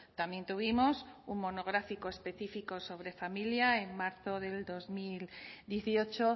también tuvimos un monográfico específico sobre familia en marzo de dos mil dieciocho